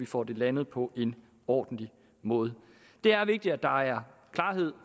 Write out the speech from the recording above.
får det landet på en ordentlig måde det er vigtigt at der er klarhed